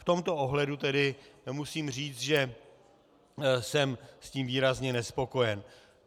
V tomto ohledu tedy musím říct, že jsem s tím výrazně nespokojen.